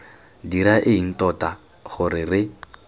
dira eng tota gore re